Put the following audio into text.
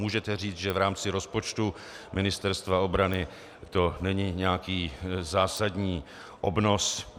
Můžete říct, že v rámci rozpočtu Ministerstva obrany to není nějaký zásadní obnos.